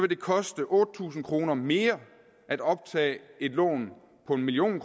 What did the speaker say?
det koste otte tusind kroner mere at optage et lån på en million